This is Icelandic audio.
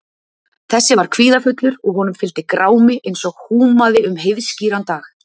Þessi var kvíðafullur og honum fylgdi grámi eins og húmaði um heiðskíran dag.